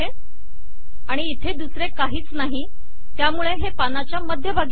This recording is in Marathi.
आणि इथे दुसरे काहीच नाही त्यामुळे ते पानाच्या मध्यभागी आले आहे